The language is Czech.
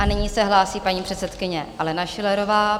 A nyní se hlásí paní předsedkyně Alena Schillerová.